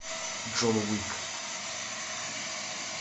джон уик